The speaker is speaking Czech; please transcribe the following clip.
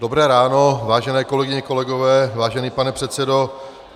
Dobré ráno, vážené kolegyně, kolegové, vážený pane předsedo.